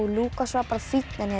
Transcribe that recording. Lúkas var bara fínn en ég